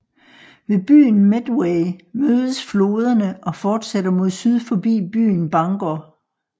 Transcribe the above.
Ved byen Medway mødes floderne og fortsætter mod syd forbi byen Bangor